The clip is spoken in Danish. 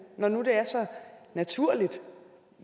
når nu det er så naturligt